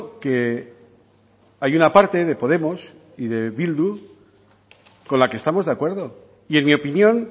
que hay una parte de podemos y de bildu con la que estamos de acuerdo y en mi opinión